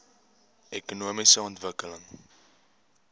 ekonomiese ontwikkeling